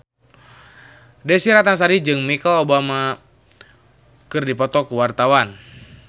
Desy Ratnasari jeung Michelle Obama keur dipoto ku wartawan